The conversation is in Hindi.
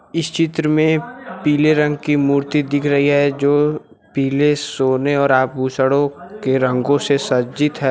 इस चित्र में पीले रंग की मूर्ति दिख रही है जो पीले सोने और आभूषणों के रंगों से सज्जित है।